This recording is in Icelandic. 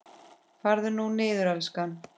Farðu nú niður, elskan.